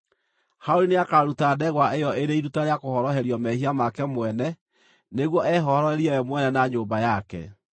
“Harũni nĩakaruta ndegwa ĩyo ĩrĩ iruta rĩa kũhoroherio mehia make mwene nĩguo ehoroherie we mwene na nyũmba yake.